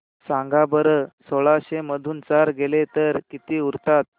सांगा बरं सोळाशे मधून चार गेले तर किती उरतात